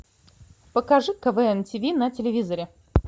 покажи квн тв на телевизоре